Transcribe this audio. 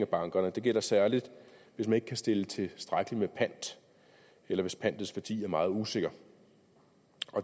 bankerne og det gælder særlig hvis man ikke kan stille tilstrækkeligt med pant eller hvis pantets værdi er meget usikker